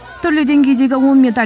түрлі деңгейдегі он медаль